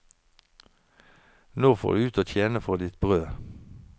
Nå får du ut og tjene for ditt brød.